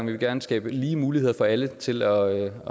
vil gerne skabe lige muligheder for alle til at